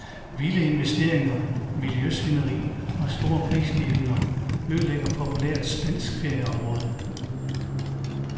Vilde investeringer, miljøsvineri og store prisstigninger ødelagde populært spansk ferieområde.